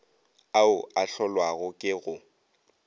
ao a hlolwago ke go